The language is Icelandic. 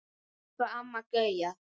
Elsku Amma Gauja.